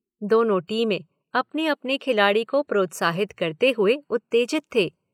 दोनों टीमें अपने-अपने खिलाड़ियों को प्रोत्साहित करते हुए उत्तेजित थे।